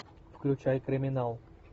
включай криминал